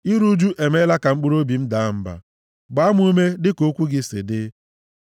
Iru ụjụ emeela ka mkpụrụobi m daa mba; gbaa m ume dịka okwu gị si dị.